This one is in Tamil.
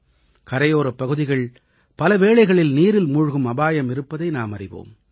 கரையோரப் பகுதிகள் பல வேளைகளில் நீரில் மூழ்கும் அபாயம் இருப்பதை நாம் அறிவோம்